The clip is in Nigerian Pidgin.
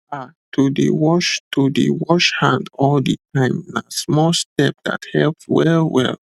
ah to dey wash to dey wash hand all the time na small step that helps wellwell